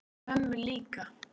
Og mömmu líka.